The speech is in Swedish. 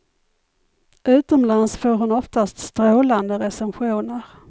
Utomlands får hon oftast strålande recensioner.